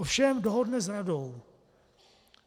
Ovšem dohodne s radou.